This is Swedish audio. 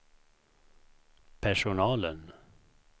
personalen